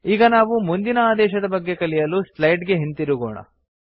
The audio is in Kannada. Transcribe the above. ಈಗ ನಾವು ಮುಂದಿನ ಆದೇಶದ ಬಗ್ಗೆ ಕಲಿಯಲು ಸ್ಲೈಡ್ ಗೆ ಹಿಂತಿರುಗೋಣ